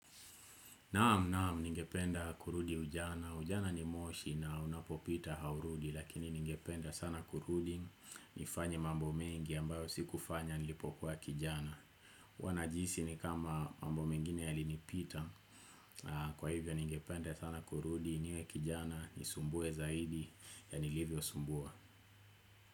Naam naam ningependa kurudi ujana, ujana ni moshi na unapopita haurudi lakini ningependa sana kurudi nifanye mambo mengi ambayo siku fanya nilipokuwa kijana huwa najihisi ni kama mambo mengine ya li nipita kwa hivyo ningependa sana kurudi niwe kijana ni sumbue zaidi ya nilivyo sumbua.